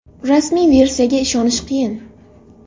Rasmiy versiyaga ishonish qiyin.